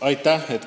Aitäh!